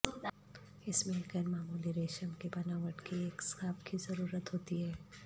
اس میں ایک غیر معمولی ریشم کی بناوٹ کی ایک سکارف کی ضرورت ہوتی ہے